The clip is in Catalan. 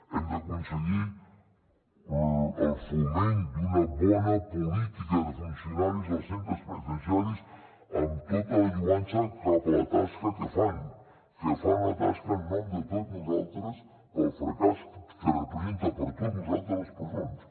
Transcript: hem d’aconseguir el foment d’una bona política de funcionaris als centres penitenciaris amb tota la lloança cap a la tasca que fan que fan una tasca en nom de tots nosaltres pel fracàs que representen per a tots nosaltres les presons